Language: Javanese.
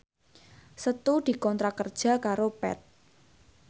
Setu dikontrak kerja karo Path